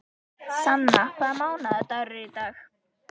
Sanna, hvaða mánaðardagur er í dag?